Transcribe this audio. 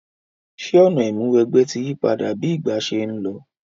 Sè ọ̀nà ìmúniwẹgbẹ́ ti yípadà bi ìgbà se n lo?